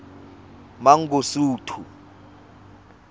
mangosuthu